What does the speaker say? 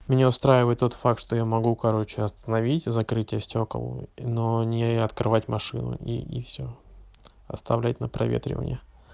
меня устраивает тот факт что я могу короче остановить закрытие стёкол но не открывать машину и и всё оставлять на проветривание